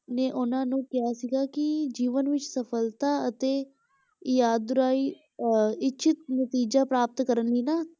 ਨੇ ਉਹਨਾਂ ਨੂੰ ਕਿਹਾ ਸੀਗਾ ਕਿ ਜੀਵਨ ਵਿੱਚ ਸਫਲਤਾ ਅਤੇ ਇਯਾਦੁਰਾਈ ਅਹ ਇੱਛਿਤ ਨਤੀਜਾ ਪ੍ਰਾਪਤ ਕਰਨ ਲਈ ਨਾ